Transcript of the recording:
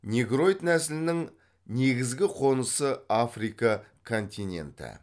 негроид нәсілінің негізгі қонысы африка континенті